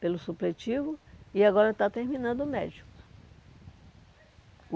pelo supletivo, e agora está terminando o médio.